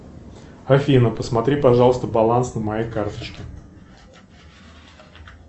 афина посмотри пожалуйста баланс на моей карточке